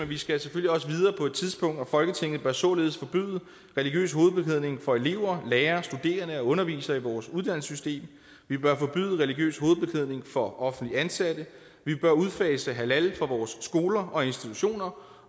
vi skal selvfølgelig også videre på et tidspunkt og folketinget bør således forbyde religiøs hovedbeklædning for elever lærere studerende og undervisere i vores uddannelsessystem vi bør forbyde religiøs hovedbeklædning for offentligt ansatte vi bør udfase halal fra vores skoler og institutioner